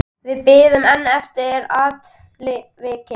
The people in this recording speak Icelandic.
Við bíðum enn eftir afriti.